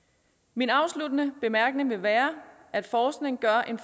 min afsluttende bemærkning vil være at forskning gør en